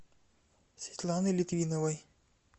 светланы литвиновой